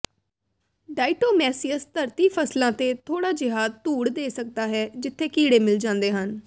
diatomaceous ਧਰਤੀ ਫਸਲਾਂ ਤੇ ਥੋੜਾ ਜਿਹਾ ਧੂੜ ਦੇ ਸਕਦਾ ਹੈ ਜਿੱਥੇ ਕੀੜੇ ਮਿਲ ਜਾਂਦੇ ਹਨ